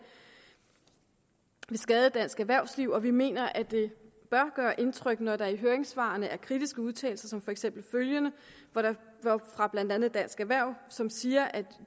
vil skade dansk erhvervsliv og vi mener at det bør gøre indtryk når der i høringssvarene er kritiske udtalelser som for eksempel følgende fra blandt andet dansk erhverv som siger at